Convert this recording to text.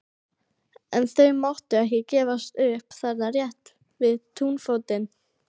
En þau máttu ekki gefast upp þarna rétt við túnfótinn.